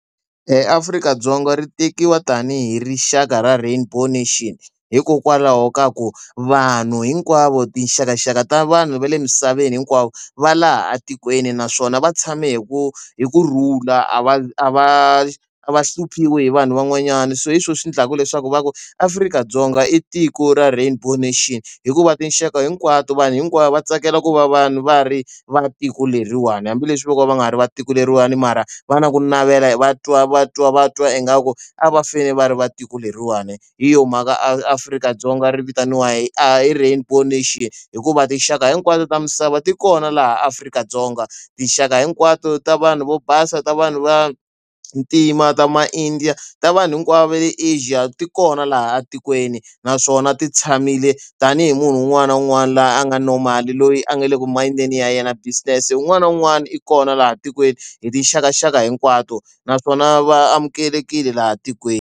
Afrika-Dzonga ri tekiwa tanihi rixaka ra rainbow nation hikokwalaho ka ku vanhu hinkwavo tinxakaxaka ta vanhu va le misaveni hinkwavo va laha atikweni naswona va tshame hi ku hi kurhula a va a va va hluphiwa hi vanhu van'wanyana so hi swona swi endlaka leswaku va ku Afrika-Dzonga i tiko ra rainbow nation hikuva tinxaka hinkwato vanhu hinkwavo va tsakela ku va vanhu va ri va tiko leriwani hambileswi vo ka va nga ha ri va tiko leriwani mara vana ku navela vatwa va twa va twa ingaku a va fane va ri va tiko leriwani hi yo mhaka Afrika-Dzonga ri vitaniwa hi a hi rainbow nation hikuva tinxaka hinkwato ta misava ti kona laha Afrika-Dzonga tinxaka hinkwato ta vanhu vo basa ta vanhu va ntima ta maindiya ta vanhu hinkwavo va le ajet ti kona laha tikweni naswona ti tshamile tanihi munhu un'wana na un'wana laha a nga no mali loyi a nga le ku machudeni ya yena business un'wana na un'wana i kona laha tikweni hi tixakaxaka hinkwato naswona va amukelekile laha tikweni.